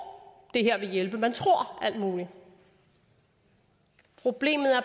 det her vil hjælpe og man tror alt muligt problemet er